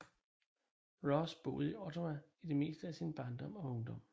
Ross boede i Ottawa i det meste af sin barndom og ungdom